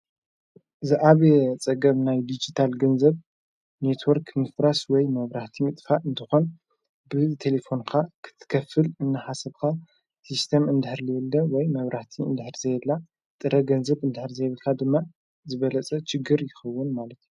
ዝኣብ ጸገብ ናይ ዲጅታል ገንዘብ ኔትወርክ ንፍራስ ወይ መብራህቲ ምጥፋእ እንተኾን ብህዝ ቴሌፎንካ ክትከፍል እንሓሰብኻ ሢስተም እንድኅሪ ልየልደ ወይ መብራቲ እንድኅሪ ዘየላ ጥረ ገንዘብ እንድኅሪ ዘይብልካ ድማ ዝበለጸ ጭግር ይኸውን ማለት እዩ።